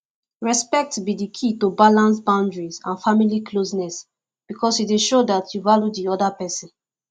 respect be di key to balance boundaries and family closeness because e dey show dat you value di oda pesin